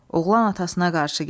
Oğlan atasına qarşı gəldi.